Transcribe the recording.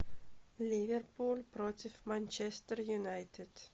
ливерпуль против манчестер юнайтед